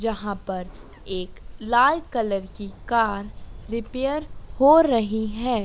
जहाँ पर एक लाल कलर की कार रिपेयर हो रहीं हैं।